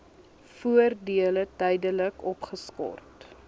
voordele tydelik opgeskort